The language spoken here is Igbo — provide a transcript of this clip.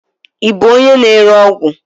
Ị bụ onye na-ere ọgwụ?